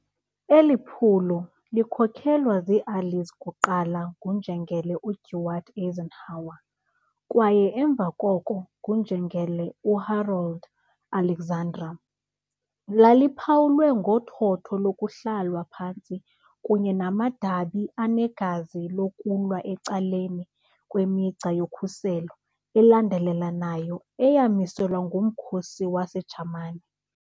Eli phulo, likhokelwa ziiAllies kuqala nguNjengele uDwight Eisenhower kwaye emva koko nguNjengele uHarold Alexander, laliphawulwe ngothotho lokuhlalwa phantsi kunye namadabi anegazi lokulwa ecaleni kwemigca yokhuselo elandelelanayo eyamiselwa ngumkhosi waseJamani .